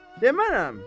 Demərəm.